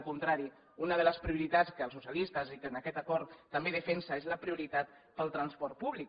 al contrari una de les prioritats que els socialistes i que en aquest acord també es defensa és la prioritat pel transport públic